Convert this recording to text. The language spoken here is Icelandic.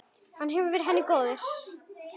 Hann hefur verið henni góður.